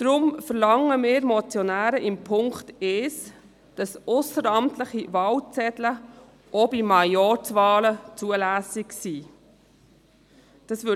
Deshalb verlangen wir Motionäre mit dem Punkt 1, dass ausserordentliche Wahlzettel auch bei Majorzwahlen zulässig sind.